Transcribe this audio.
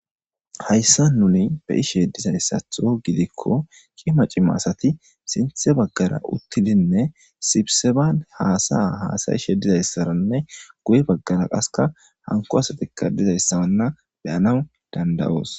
hayssa nuni be ishe dizayssatho gidikko qi ma cima asati sinthe baggara uttidinne sibseban haasaya haasayishe dizayssaranne guye baggara qaska hanko asatika dizayssaanna beyanan dandayoos